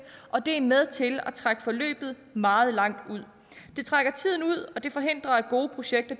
og det er med til at trække forløbet meget langt ud det trækker tiden ud og det forhindrer at gode projekter